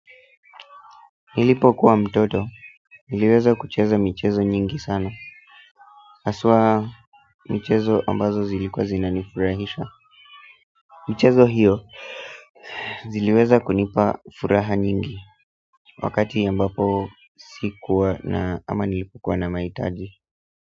Nilipokuwa mtoto, niliweza kucheza michezo nyingi sana. Hasa michezo ambazo zilikuwa zinanifurahisha. Michezo hiyo, ziliweza kunipa furaha nyingi wakati ambapo sikuwa na, ama nilipokuwa na mahitaji.